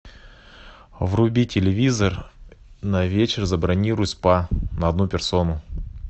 вруби телевизор на вечер забронируй спа на одну персону